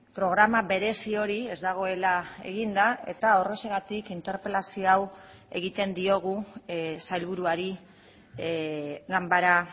programa berezi hori ez dagoela eginda eta horrexegatik interpelazio hau egiten diogu sailburuari ganbara